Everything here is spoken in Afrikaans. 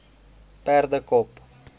perdekop